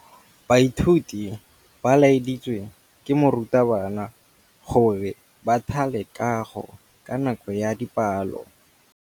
Baithuti ba laeditswe ke morutabana gore ba thale kagô ka nako ya dipalô.